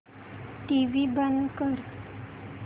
TV बंद कर